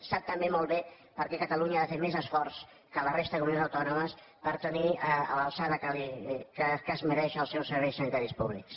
sap també molt bé per què catalunya ha de fer més esforç que la resta de comunitats autònomes per tenir a l’alçada que es mereix els seus serveis sanitaris públics